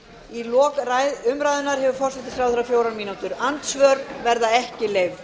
í lok umræðunnar hefur forsætisráðherra fjórar mínútur andsvör verða ekki leyfð